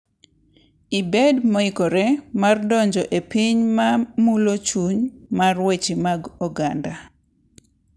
Ibed moikore mar donjo e piny ma mulo chuny mar weche mag oganda!